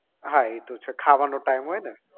હા એ તો છે ખાવાનો time હોય ને